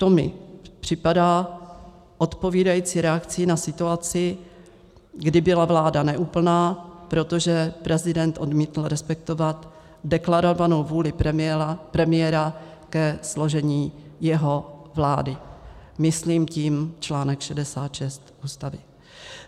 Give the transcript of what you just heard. To mi připadá odpovídající reakcí na situaci, kdy byla vláda neúplná, protože prezident odmítl respektovat deklarovanou vůli premiéra ke složení jeho vlády, myslím tím článek 66 Ústavy.